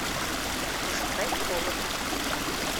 пошукай холодно